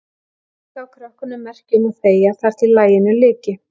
Mamma gaf krökkunum merki um að þegja þar til laginu lyki.